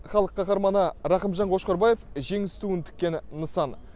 халық қаһарманы рақымжан қошқарбаев жеңіс туын тіккен нысан